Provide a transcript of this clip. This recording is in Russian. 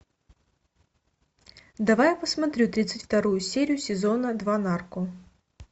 давай я посмотрю тридцать вторую серию сезона два нарко